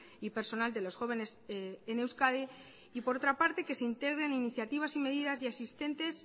y personal de los jóvenes en euskadi y por otra parte que se integren iniciativas y medidas ya existentes